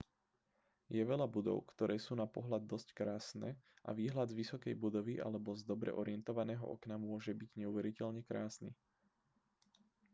je veľa budov ktoré sú na pohľad dosť krásne a výhľad z vysokej budovy alebo z dobre orientovaného okna môže byť neuveriteľne krásny